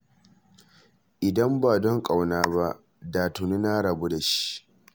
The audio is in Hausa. Idan ba don ƙauna ba, da tuni na rabu da shi